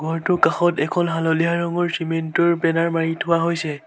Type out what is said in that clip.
ঘৰটোৰ কাষত এখন হালধীয়া ৰঙৰ চেমেণ্ট ৰ বেনাৰ মাৰি থোৱা হৈছে।